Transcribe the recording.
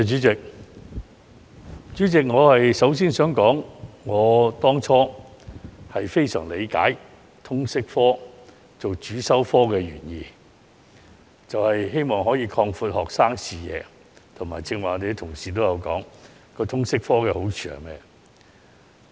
主席，我當初非常理解以通識科作為主修科的原意，是希望擴闊學生視野，正如剛才議員提到通識科的好處時所說。